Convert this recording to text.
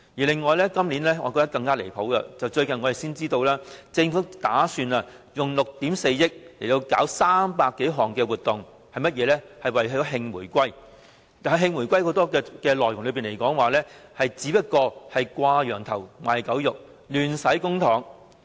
另外，今年令我更覺離譜的是，我們最近才得知政府打算花費6億 4,000 萬元，舉辦300多項所謂的"慶回歸"活動，當中不少只屬"掛羊頭賣狗肉"，亂花公帑。